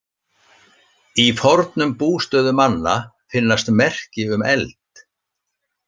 Í fornum bústöðum manna finnast merki um eld.